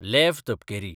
leave तपकिरी